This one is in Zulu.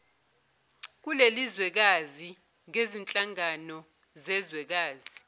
kulelizwekazi ngezinhlangano zezwekazi